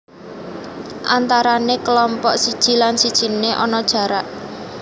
Antarané kelompok siji lan sijine ana jarak